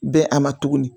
Bɛn a ma tuguni